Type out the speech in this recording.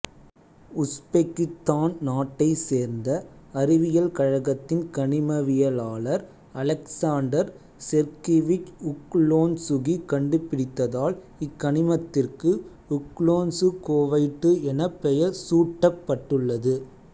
உசுபெக்கித்தான் நாட்டைச் சேர்ந்த அறிவியல் கழகத்தின் கனிமவியலாளர் அலெக்சாண்டர் செர்கிவிச் உக்லோன்சுகி கண்டுபிடித்ததால் இக்கனிமத்திற்கு உக்லோன்சுகோவைட்டு எனப் பெயர் சூட்டப்பட்டுள்ளது